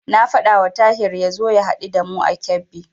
Na faɗawa Tahir ya zo ya haɗu da mu a Kebbi.